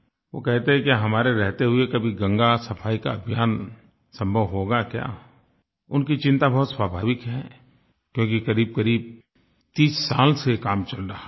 वो कहते हैं कि हमारे रहते हुए कभी गंगा सफाई का अभियान संभव होगा क्या उनकी चिंता बहुत स्वाभाविक है क्योंकि करीबकरीब 30 साल से ये काम चल रहा है